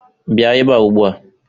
Bịa ebe a ugbu a!